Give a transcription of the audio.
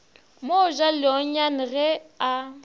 mo ja leonyane ge a